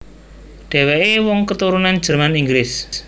Dhèwèké wong katurunan Jerman Inggris